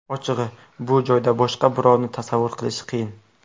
Ochig‘i, bu joyda boshqa birovni tasavvur qilish qiyin.